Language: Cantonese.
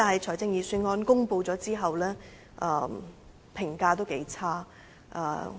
但是，在預算案公布後，評價頗差。